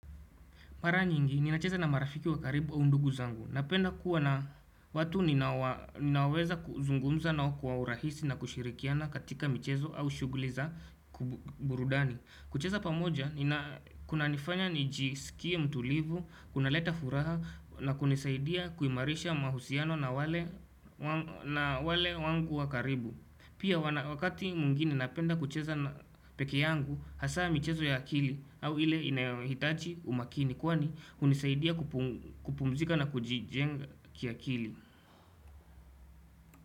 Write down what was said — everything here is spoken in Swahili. Mara nyingi, ninacheza na marafiki wa karibu au ndugu zangu. Napenda kuwa na watu ninaowa ninaweza kuzungumza nao kwa urahisi na kushirikiana katika michezo au shughuli za burudani. Kucheza pamoja, nina kunanifanya nijisikie mtulivu, kunaleta furaha na kunisaidia kuimarisha mahusiano na wale wangu wa karibu. Pia wakati mwingine napenda kucheza peke yangu hasa michezo ya akili au ile inayohitaji umakini kwani hunisaidia kupumzika na kujijenga kiakili.